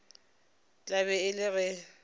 tla be e le ge